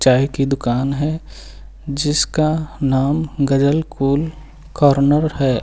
चाय की दुकान है जिसका नाम गजल कूल कॉर्नर है।